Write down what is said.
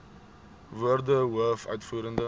woorde hoof uitvoerende